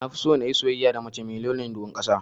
Nafiso nayi soyayya da mace mai launin ruwan ƙasa.